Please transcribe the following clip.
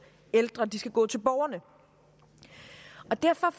ældre de skal gå til borgerne derfor